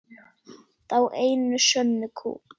Þá einu sönnu kú.